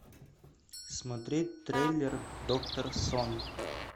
смотреть трейлер доктор сон